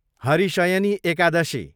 Harishayani Ekadashi